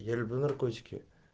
я люблю наркотики